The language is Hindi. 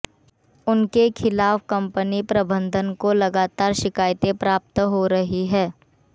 उनके खिलाफ कंपनी प्रबंधन को लगतार शिकायतें प्राप्त हो रही थी